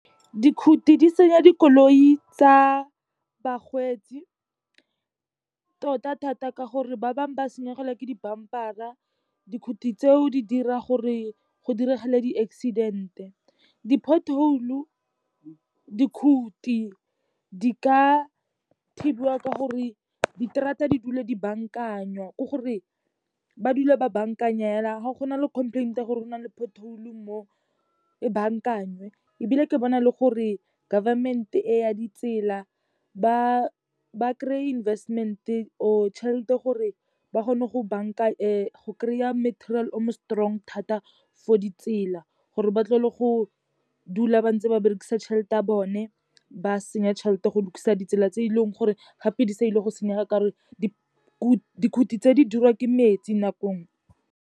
Dikhuti di senya dikoloi tsa bakgweetsi tota thata ka gore ba bangwe ba senyegelwa ke di-bumper-ra. Dikhuti tseo di dira gore go diragale di-accident-e, di-pothole, dikhuti di ka thibiwa ka gore di terata di dule di bankanywa. Ke gore ba dula ba baankanya fela, ga gona le complaint gore go na le pothole mo e baankanywe, ebile ke bona le gore government-e e ya ditsela ba kry-e investment or tšhelete gore ba kgone go go kry-a meterial o mo strong thata for ditsela, gore ba tlogele go dula ba ntse ba berekisa tšhelete ya bone ba senya tšhelete go lokisa ditsela tse e leng gore gape di sa ile go senyega ka gore, dikhuti tse di dirwa ke metsi nako e nngwe.